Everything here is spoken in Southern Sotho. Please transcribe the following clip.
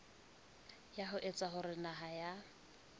ho etsa hore naha ya